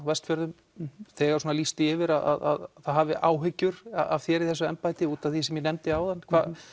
Vestfjörðum þegar lýst því yfir að það hafi áhyggjur af þér í þessu embætti út af því sem ég nefndi áðan